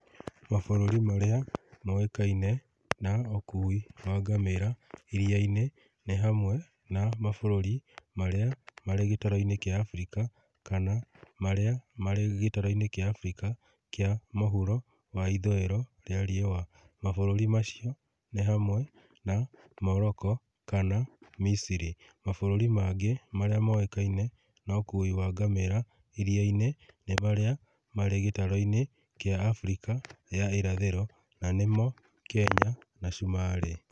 Mabũrũri marĩa moĩkaine na ũkuui wa ngamĩra iria-inĩ ni hamwe na mabũrũri marĩa marĩ gĩtaro-inĩ kĩa Afrika, kana marĩa marĩ gĩtaro-inĩ kĩa Afrika kĩa mũhuro wa Ithũĩro rĩa riua. Mabũrũri macio ni hamwe na Moroko, kana Misiri. Mabũrũri mangĩ marĩa moĩkaine na ũkui wa ngamĩra iria-inĩ ni marĩa marĩ gĩtaro-inĩ kĩa Afrika ya Irathĩro na nĩmo Kenya na Cumarĩ.